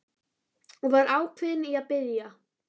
Og var ákveðinn í að biðja